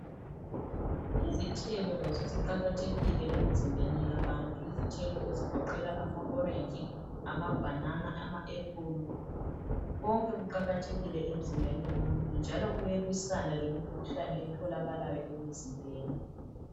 Izithelo lazo ziqakathekile emzimbeni yabantu. Izithelo ezigoqela ama orenji, amabhanana, ama ephulu. Konke kuqakathekile emzimbeni womuntu, njalo kuayalwisana lemikhuhlane etholakalayo emzimbeni.